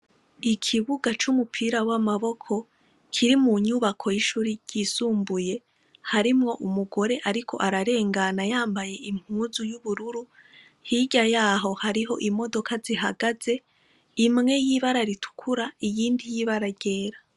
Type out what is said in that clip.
Ikibuga c’umupira w’amaboko kiri mu nyubako y’ishure ryisumbuye harimwo umugore ariko ararengana yambaye impuzu y’ubururu, hirya yaho hariho imodoka zihagaze imwe yibara ritukura iyindi y’ibara ryera.